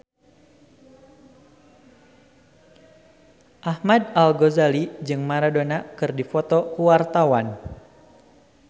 Ahmad Al-Ghazali jeung Maradona keur dipoto ku wartawan